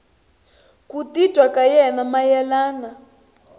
ku titwa ka yena mayelana